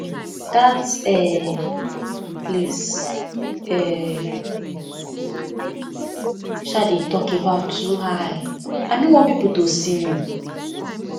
dat um place um you um dey talk about too high i know want people to see me